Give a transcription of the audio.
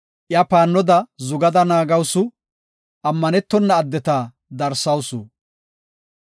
Iya paannoda zugada naagawusu; ammanetona addeta darsawusu.